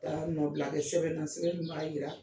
nɔ bila kɛ sɛbɛn na sɛbɛn min b'a jira.